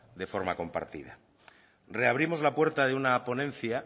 de forma compartida reabrimos la puerta de una ponencia